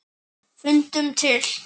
Fundum til.